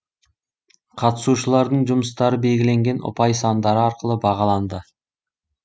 қатысушылардың жұмыстары белгіленген ұпай сандары арқылы бағаланды